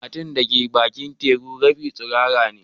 Matan da ke bakin teku rabin tsirara ne.